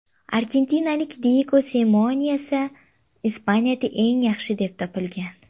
Argentinalik Diyego Simeone esa Ispaniyada eng yaxshi deb topilgan.